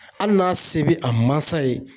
Hali n'a se be a mansa ye